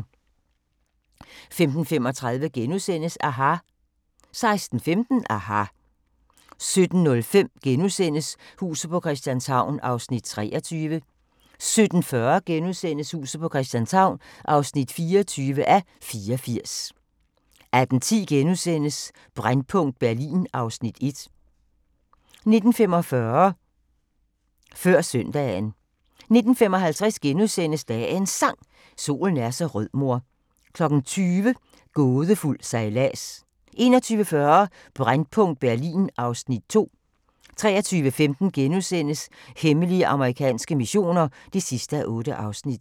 15:35: aHA! * 16:15: aHA! 17:05: Huset på Christianshavn (23:84)* 17:40: Huset på Christianshavn (24:84)* 18:10: Brændpunkt Berlin (Afs. 1)* 19:45: Før Søndagen 19:55: Dagens Sang: Solen er så rød mor * 20:00: Gådefuld sejlads 21:40: Brændpunkt Berlin (Afs. 2) 23:15: Hemmelige amerikanske missioner (6:8)*